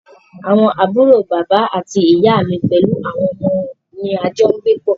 Àwọn àbúrò bàbá àti ìyá mí pẹlú àwọn ọmọ wọn ní a jọ n gbé pọ́.